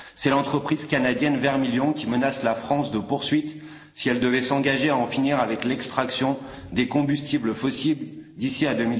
c'est l'entreprise canadienne Vermilion qui menace la France de poursuites si elle devait s'engager à en finir avec l'extraction des combustibles fossiles d'ici à